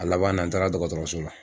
A laban na n taara dɔgɔtɔrɔso la.